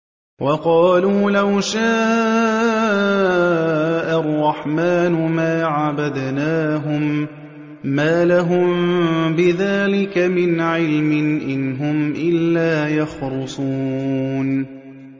وَقَالُوا لَوْ شَاءَ الرَّحْمَٰنُ مَا عَبَدْنَاهُم ۗ مَّا لَهُم بِذَٰلِكَ مِنْ عِلْمٍ ۖ إِنْ هُمْ إِلَّا يَخْرُصُونَ